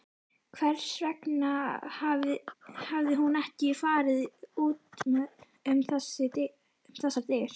Hvers vegna hafði hún ekki farið út um þessar dyr?